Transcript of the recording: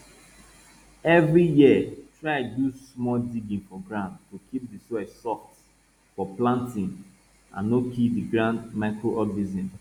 every year try do small digging for ground to keep di soil soft for planting and no kill di good microorganisms